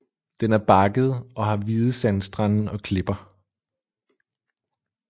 Den er bakket og har hvide sandstrande og klipper